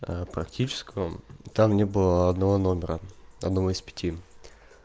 аа практическом там не было одного номера одного из пяти